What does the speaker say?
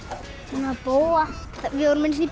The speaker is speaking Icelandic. náð bófa við vorum einu sinni í